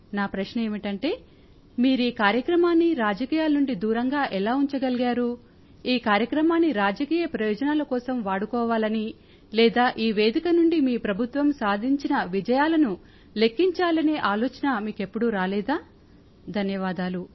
నా ప్రశ్న ఏమిటంటే మీరీ కార్యక్రమాన్ని రాజకీయాల నుండి దూరంగా ఎలా ఉంచగలిగారు ఈ కార్యక్రమాన్ని రాజకీయ ప్రయోజనాల కోసం వాడుకోవాలని లేదా ఈ వేదిక నుండి మీ ప్రభుత్వం సాధించిన విజయాలను లెఖ్ఖించాలనే ఆలోచన మీకెప్పుడూ రాలేదా ధన్యవాదాలు